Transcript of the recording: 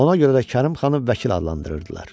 Ona görə də Kərim xanı vəkil adlandırırdılar.